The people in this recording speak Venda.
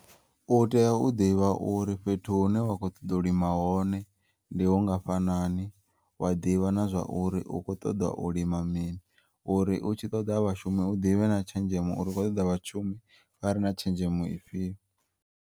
U teya u ḓivha uri fhethu hune wa kho u ṱoḓa u lima hone ndi hungafhanani, wa ḓivha na zwauri u kho u ṱoḓa u lima mini uri u tshi ṱoḓa vhashumi u ḓivhe na tshenzhemo uri u kho ṱoḓa vhashumi vhare na tshenzhemo ifhiyo.